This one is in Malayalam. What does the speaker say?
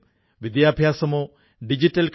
ഈ രംഗത്ത് വളരെയധികം സ്ത്രീകൾ ജോലി ചെയ്യുന്നുമുണ്ട്